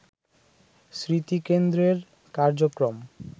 স্মৃতিকেন্দ্রের কার্যক্রম